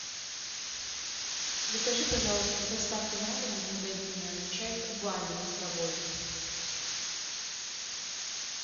закажи пожалуйста с доставкой на дом из магазина чай кубань листовой